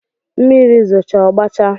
Mmiri zooche ọgbachaa